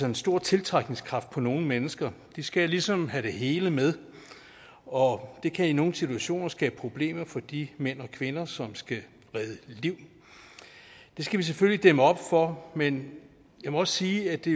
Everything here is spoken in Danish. en stor tiltrækningskraft på nogle mennesker de skal ligesom have det hele med og det kan i nogle situationer skabe problemer for de mænd og kvinder som skal redde liv det skal vi selvfølgelig dæmme op for men jeg må også sige at det